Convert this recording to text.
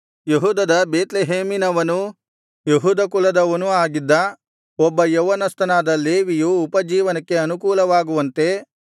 ಯೆಹೂದದ ಬೇತ್ಲೆಹೇಮಿನವನೂ ಯೆಹೂದ ಕುಲದವನೂ ಆಗಿದ್ದ ಒಬ್ಬ ಯೌವನಸ್ಥನಾದ ಲೇವಿಯು ಉಪಜೀವನಕ್ಕೆ ಅನುಕೂಲವಾಗುವಂತೆ